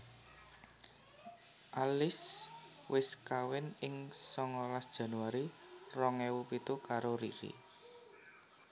Alice wis kawin ing songolas Januari rong ewu pitu karo Riri